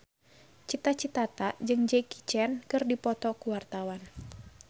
Cita Citata jeung Jackie Chan keur dipoto ku wartawan